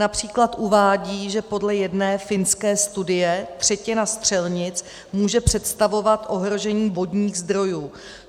Například uvádí, že podle jedné finské studie třetina střelnic může představovat ohrožení vodních zdrojů.